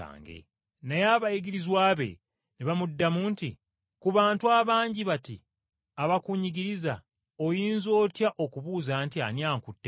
Naye abayigirizwa be ne bamuddamu nti, “Ku bantu abangi bati abakunyigiriza oyinza otya okubuuza nti, ‘Ani ankutteko?’ ”